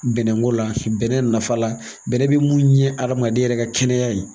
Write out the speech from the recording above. Bɛnnɛko la bɛnnɛ nafa la bɛnnɛ bi mun ɲɛ adamaden yɛrɛ ka kɛnɛya ye